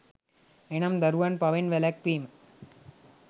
එනම්, දරුවන් පවෙන් වැළැක්වීම,